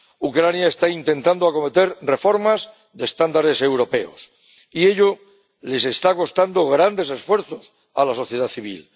Ucrania está intentando acometer reformas de estándares europeos y ello le está costando grandes esfuerzos a la sociedad civil.